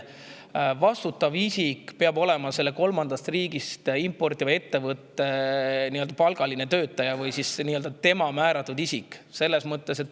Vastutav isik peab olema kolmandast riigist importiva ettevõtte palgaline töötaja või tema määratud isik.